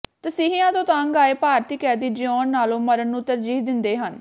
ਤਸੀਹਿਆਂ ਤੋਂ ਤੰਗ ਆਏ ਭਾਰਤੀ ਕੈਦੀ ਜਿਉੁਣ ਨਾਲੋਂ ਮਰਨ ਨੂੰ ਤਰਜੀਹ ਦਿੰਦੇ ਹਨ